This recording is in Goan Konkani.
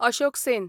अशोक सेन